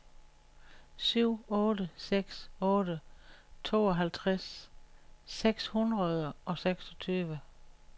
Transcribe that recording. syv otte seks otte tooghalvtreds seks hundrede og seksogtyve